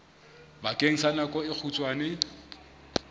bakeng sa nako e kgutshwane